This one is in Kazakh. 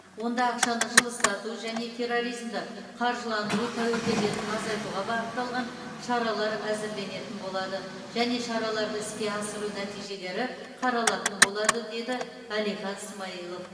онда ақшаны жылыстату және терроризмді қаржыландыру тәуекелдерін азайтуға бағытталған шаралар әзірленетін болады және шараларды іске асыру нәтижелері қаралатын болады деді әлихан смайылов